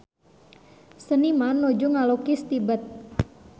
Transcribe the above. Seniman nuju ngalukis Tibet